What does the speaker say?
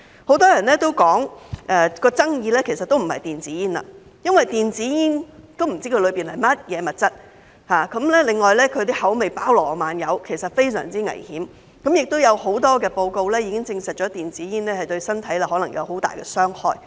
很多人都說爭議其實不在於電子煙，由於不知道電子煙包含的物質，而它的口味包羅萬有，所以是非常危險，亦有很多報告已證實電子煙對身體可能有很大傷害。